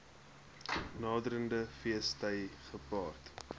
naderende feesgety gepaard